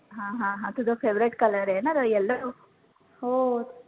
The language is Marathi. हा हा हा तुझा favorite color आहे ना yellow